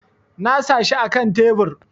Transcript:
Na sa shi akan tebur